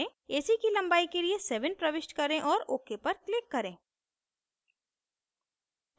ac की लंबाई के लिए 7 प्रविष्ट करें और ok पर click करें